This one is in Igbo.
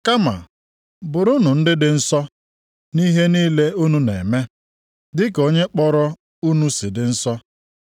Kama bụrụnụ ndị dị nsọ nʼihe niile unu na-eme, dịka onye kpọrọ unu si dị nsọ.